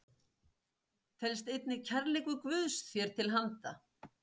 felst einnig kærleikur Guðs þér til handa.